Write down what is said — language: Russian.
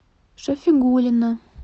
шафигуллина